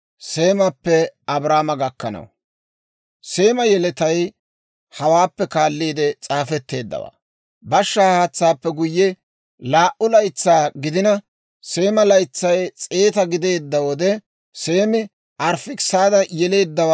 Seema yeletay hawaappe kaaliide s'aafetteeddawaa. Bashshaa haatsaappe guyye, laa"u laytsaa gidina, Seema laytsay 100 gideedda wode, Seemi Arifaakisaada yeleedda.